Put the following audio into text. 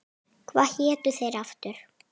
Hvað hétu þeir aftur?